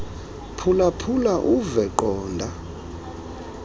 phulaphula uve qonda